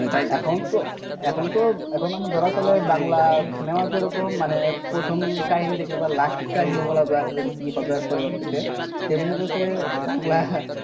এখনত এখনতো, এখন আমাদের ধরো চলে বাংলা cinema যেরকম মানে প্রথম কাহিনী দেখলে বা last কাহিনী বলা যায় যে কি হবে পরেরবার থেকে তেমনি বাংলা,